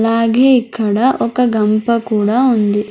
అలాగే ఇక్కడ ఒక గంప కూడా ఉంది.